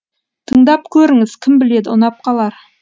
тыңдап көріңіз кім біледі ұнап қалар